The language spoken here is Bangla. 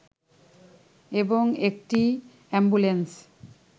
এবং একটি অ্যাম্বুলেন্স